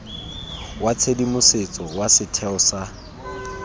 wa tshedimosetso wa setheo sa